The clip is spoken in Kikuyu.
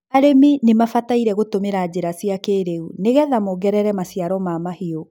arĩmi nimabataire gũtũmĩra njĩra cia kĩrĩu nigetha mogerere maciaro ma mahiũ